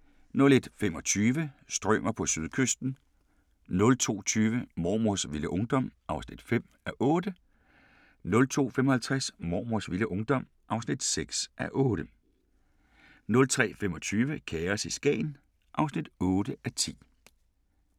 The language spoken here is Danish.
23:35: Krop umulig! 00:30: Grænsepatruljen 00:55: Grænsepatruljen 01:25: Strømer på sydkysten 02:20: Mormors vilde ungdom (5:8) 02:55: Mormors vilde ungdom (6:8) 03:25: Kaos i Skagen (8:10)